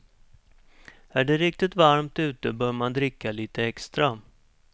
Är det riktigt varmt ute bör man dricka lite extra.